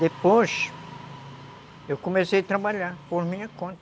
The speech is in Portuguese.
Depois, eu comecei a trabalhar por minha conta.